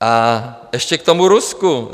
A ještě k tomu Rusku.